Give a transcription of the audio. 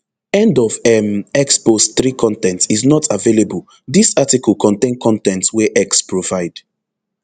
end of um x post three con ten t is not available dis article contain con ten t wey x provide